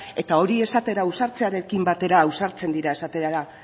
eta hori esatera ausartzearekin batera ausartzen dira esatera